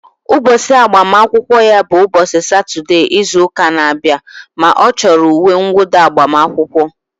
Ụbọchị agbamakwụkwọ ya bụ ụbọchị Satọdee izu ụka na-abịa ma ọ chọrọ uwe nwụda agbamakwụkwọ